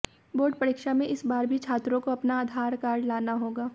board परीक्षा में इस बार भी छात्रों को अपना आधार कार्ड लाना होगा